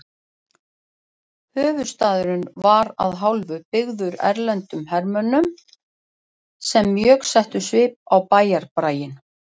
Höfuðstaðurinn var að hálfu byggður erlendum hermönnum sem mjög settu svip á bæjarbraginn.